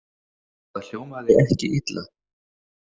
Það hljómaði ekki illa.